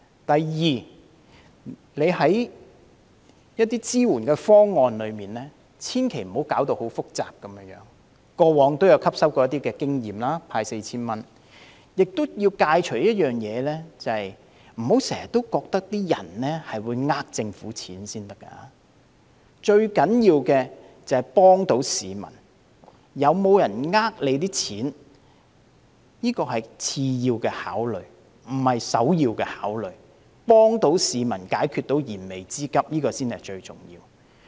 第二，政府千萬不要把支援方案搞得太複雜，過往派發 4,000 元時已汲取經驗，亦有一點是要戒掉的，就是不要經常覺得市民會欺騙政府的金錢，最重要的是要幫助市民，有沒有人欺騙政府的金錢是次要的考慮，可以幫助市民解決燃眉之急才是最重要的。